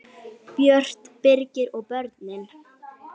Björt, Birgir og börnin.